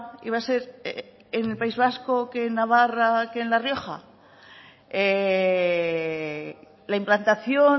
y va a ser en el país vasco que en navarra que en la rioja la implantación